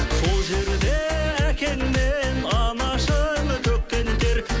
сол жерде әкеңмен анашың төккен тер